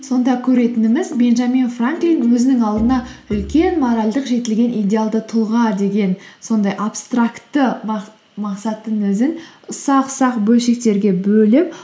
сонда көретініміз бенджамин франклин өзінің алдына үлкен моральдық жетілген идеалды тұлға деген сондай абстрактты мақсаттың өзін ұсақ ұсақ бөлшектерге бөліп